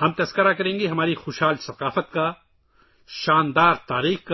ہم اپنی بھرپور ثقافت، شاندار تاریخ